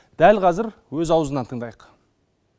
дәл қазір өз аузынан тыңдайық